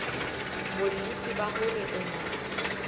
bonnete ba hore o na